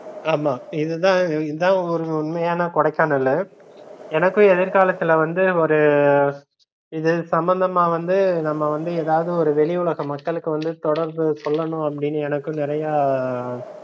ஆமா இதுதா இதுதா ஒரு உண்மையான கொடைக்கானல்லு எனக்கு எதிர் காலத்துல வந்து ஒரு இது சம்பந்தமா வந்து நம்ம வந்து எதாவது ஒரு வெளிஉலக மக்களுக்கு வந்து தொடர்பு சொல்லனும்னு அப்படின்னு எனக்கு நிறையா